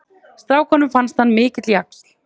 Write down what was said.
Strákunum fannst hann mikill jaxl.